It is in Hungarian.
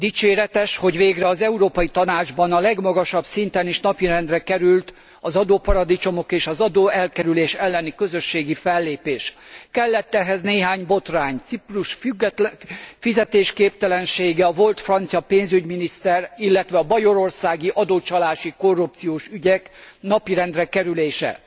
Dicséretes, hogy végre az Európai Tanácsban a legmagasabb szinten is napirendre került az adóparadicsomok és az adóelkerülés elleni közösségi fellépés. Kellett ehhez néhány botrány Ciprus fizetésképtelensége, a volt francia pénzügyminiszter ügye, illetve a bajorországi adócsalási korrupciós ügyek napirendre kerülése.